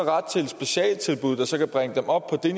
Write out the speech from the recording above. ret der kan bringe dem op på det